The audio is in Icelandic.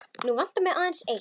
Nú vantar mig aðeins eitt!